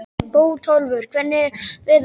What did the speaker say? Bótólfur, hvernig er veðurspáin?